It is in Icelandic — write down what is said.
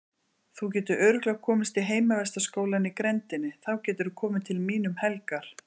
Þú getur örugglega komist í heimavistarskólann í grenndinni, þá geturðu komið til mín um helgar.